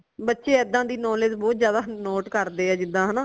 ਬੱਚੇ ਏਦਾਂ ਦੀ knowledge ਬਹੁਤ ਜ਼ਿਆਦਾ note ਕਰਦੇ ਹੈ ਜਿਦਾ ਹਨਾ